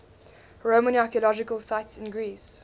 roman archaeological sites in greece